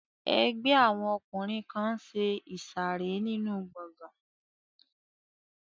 Ẹgbẹ́ àwọn ọkùnrin kan n ṣe ìsàrẹ́ nínu gbọgán